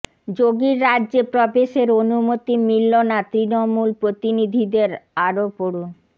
যোগীর রাজ্যে প্রবেশের অনুমতি মিলল না তৃণমূল প্রতিনিধিদের আরও পড়ুন